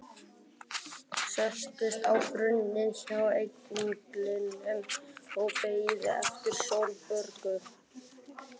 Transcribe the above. Settist á brunninn hjá englinum og beið eftir Sólborgu.